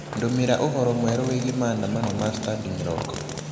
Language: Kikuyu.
ndūmīra ūhoro mweru wīgie maandamano ma standing rock